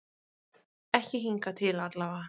Ekki hingað til allavega.